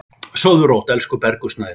Sofðu rótt, elsku Bergur Snær.